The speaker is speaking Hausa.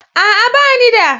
A'a, ba ni da